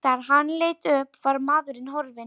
Þegar hann leit upp var maðurinn horfinn.